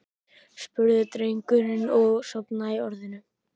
spurði drengurinn og sofnaði í orðinu.